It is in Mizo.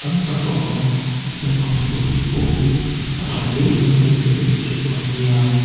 tak a awm a hengho scooty pawh hi a thahle inlo lei ve theuh dawn nia.